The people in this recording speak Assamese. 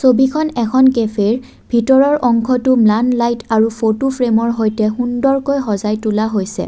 এখন কেফেৰ ভিতৰৰ অশংটো ম্লান লাইট আৰু ফটো ফ্ৰেমৰ সৈতে সুন্দৰকৈ সজাই তোলা হৈছে।